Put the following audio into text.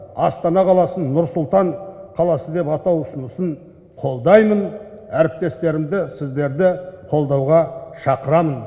астана қаласын нұр сұлтан қаласы деп атау ұсынысын қолдаймын әріптестерімді сіздерді қолдауға шақырамын